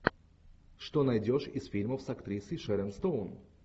что найдешь из фильмов с актрисой шерон стоун